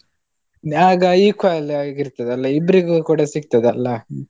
ಆಗ equal ಆಗಿ ಇರ್ತದಲ್ಲ, ಇಬ್ರೀಗು ಕೂಡ ಸಿಗ್ತದಲ್ಲ.